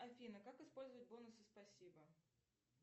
афина как использовать бонусы спасибо